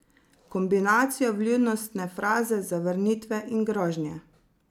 Kombinacijo vljudnostne fraze, zavrnitve in grožnje.